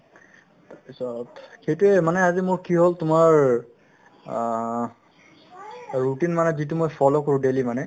পিছত সেইটোয়ে মানে আজি মোৰ কি হ'ল তোমাৰ অহ্ routine মানে যিটো মই follow কৰো daily মানে